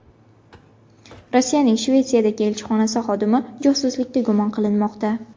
Rossiyaning Shvetsiyadagi elchixonasi xodimi josuslikda gumon qilinmoqda.